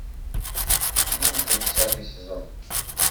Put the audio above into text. клиника десятый сезон